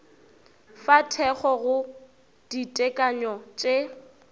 fa thekgo go ditekanyo tše